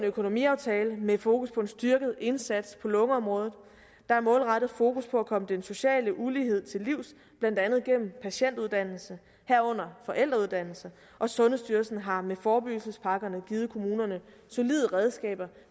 økonomiaftale med fokus på en styrket indsats på lungeområdet der er målrettet fokus på at komme den sociale ulighed til livs blandt andet gennem patientuddannelse herunder forældreuddannelse og sundhedsstyrelsen har med forebyggelsespakkerne givet kommunerne solide redskaber